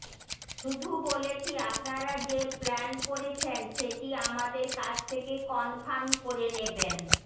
শুধু বলেছি আপনারা যে প্ল্যান করছেন করেছেন সেটি আমাদের কাছ থেকে কনফার্ম করে নেবেন